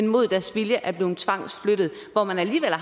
mod deres vilje blevet tvangsflyttet og